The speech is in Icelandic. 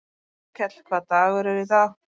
Arnkell, hvaða dagur er í dag?